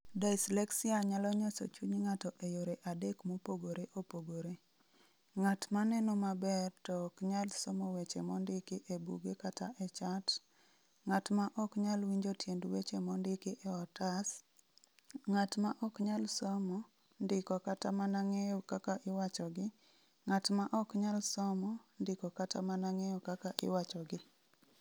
Dyslexia Nyalo Nyoso Chuny Ng'ato E yore adek mopogore opogore: Ng'at ma neno maber to ok nyal somo weche mondiki e buge kata e chat; Ng'at ma ok nyal winjo tiend weche mondiki e otas; Ng'at ma ok nyal somo, ndiko kata mana ng'eyo kaka iwachogi; Ng'at ma ok nyal somo, ndiko kata mana ng'eyo kaka iwachogi.